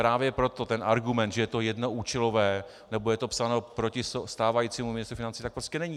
Právě proto ten argument, že je to jednoúčelové nebo je to psáno proti stávajícímu ministru financí, tak prostě není!